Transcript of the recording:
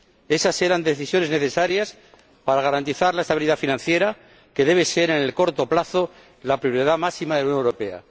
Esas eran decisiones necesarias para garantizar la estabilidad financiera que debe ser, en el corto plazo, la prioridad máxima de la Unión Europea.